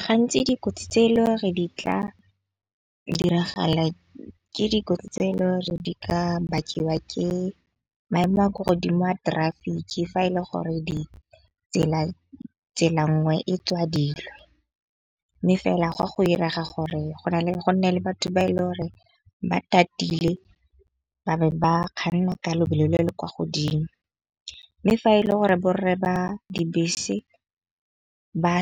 Gantsi dikotsi tseo e le gore di tla diragala ke dikotsi tseo e le gore di ka bakiwa ke maemo a kwa godimo a . Fa e le gore ditsela tsela nngwe e tswa dilo. Mme fela gwa go iraga gore gonne le batho ba e le gore batatile ba be ba kganna ka lebelo le le kwa godimo. Mme fa e le gore bo rre ba dibese ba